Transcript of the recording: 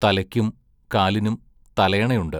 തലയ്ക്കും കാലിനും തലയണയുണ്ട്.